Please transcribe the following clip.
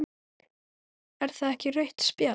Er það ekki rautt spjald?